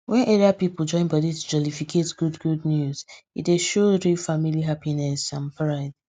wen area people join body to jollificate good good news e dey show real family happiness and pride